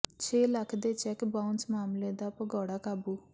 ਛੇ ਲੱਖ ਦੇ cheque bounce ਮਾਮਲੇ ਦਾ ਭਗੌੜਾ ਕਾਬੂ